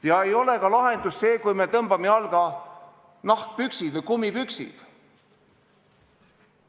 Ja ei ole ka lahendus see, kui me tõmbame jalga nahkpüksid või kummipüksid.